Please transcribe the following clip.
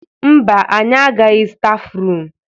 Mba, anyị agaghị stafrum.